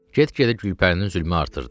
Get-gedə Gülpərinin zülmü artırdı.